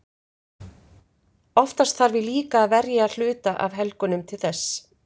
Oftast þarf ég líka að verja hluta af helgunum til þess.